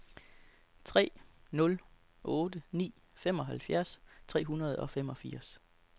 tre nul otte ni femoghalvfems tre hundrede og femogfirs